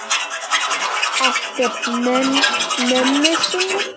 Eftir mömmu sinni.